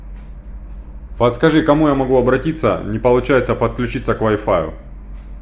подскажи к кому я могу обратиться не получается подключиться к вай фаю